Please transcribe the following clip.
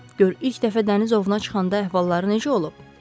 Gör ilk dəfə dəniz ovuna çıxanda əhvalları necə olub.